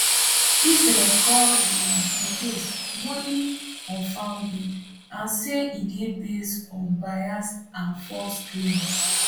israel call di di case wholly unfounded and say e dey base on biased and false claims